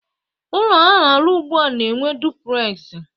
Ụlọ a na-arụ ugbua na-enwe duplegzi